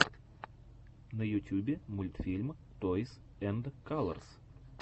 на ютюбе мультфильм тойс энд калорс